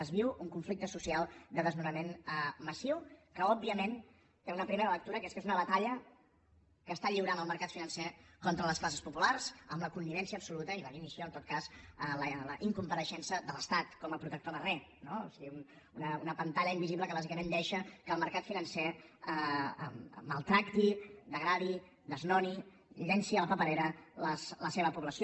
es viu un conflicte social de desnonament massiu que òbviament té una primera lectura que és que és una batalla que està lliurant el mercat financer contra les classes populars amb la connivència absoluta i la dimissió en tot cas la incompareixença de l’estat com a protector de re no o sigui una pantalla invisible que bàsicament deixa que el mercat financer maltracti degradi desnoni llenci a la paperera la seva població